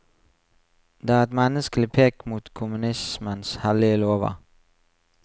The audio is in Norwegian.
Det er et menneskelig pek mot kommunismens hellige lover.